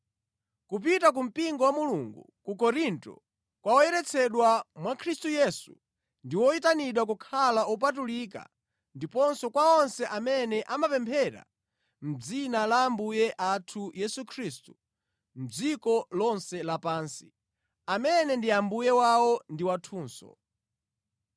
Kupita ku mpingo wa Mulungu ku Korinto, kwa oyeretsedwa mwa Khristu Yesu ndi oyitanidwa kukhala opatulika ndiponso kwa onse amene amapemphera mʼdzina la Ambuye athu Yesu Khristu mʼdziko lonse lapansi, amene ndi Ambuye wawo ndi wathunso.